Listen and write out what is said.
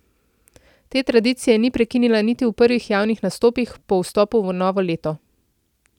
Te tradicije ni prekinila niti v prvih javnih nastopih po vstopu v novo leto.